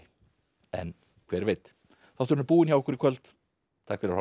en hver veit þátturinn er búinn hjá okkur í kvöld takk fyrir að horfa